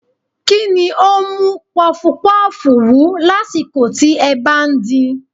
Kí ni ó ń mú pọfupọ́ọ̀fù wú lásìkò tí ẹ bá ń din?